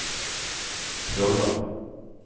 Trolla